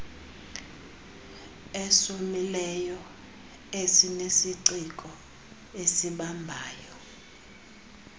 esomileyo esinesiciko esibambayo